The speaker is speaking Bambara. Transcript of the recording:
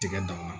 Tigɛ danna